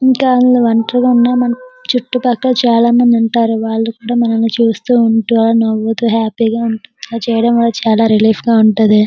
ఎక్కడ ఒంటరిగా ఉన్నాము చుట్టు పక్కల చాలా మంది ఉంటారు వాళ్ళు కూడా చూస్తున్నారు వాళ్ళు అలా నవ్వుతు చాలా హ్యాపీగా ఉంటారు అలా చెయ్యడం వాళ్ళ చాల రిలీఫ్ గా ఉంటుంది.